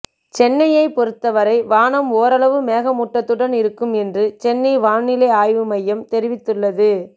சென்னையை பொருத்த வரை வானம் ஓரளவு மேகமூட்டத்துடன் இருக்கும் என்று சென்னை வானிலை ஆய்வு மையம் தெரிவித்துள்ளது